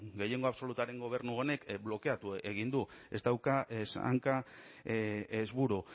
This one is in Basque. gehiengo absolutuaren gobernu honek blokeatu egin du ez dauka ez hanka ez buru